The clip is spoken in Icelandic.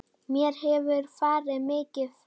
Mér hefur farið mikið fram.